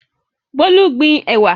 Bolu gbin ẹ̀wà.